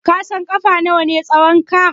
Ka san ƙafa nawa ne tsahonka?